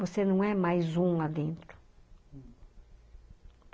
Você não é mais um lá dentro.